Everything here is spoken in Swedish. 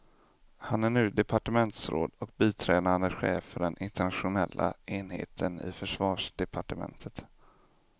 Han är nu departementsråd och biträdande chef för den internationella enheten i försvarsdepartementet.